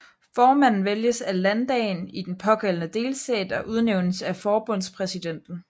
Formanden vælges af landdagen i den pågældende delstat og udnævnes af forbundspræsidenten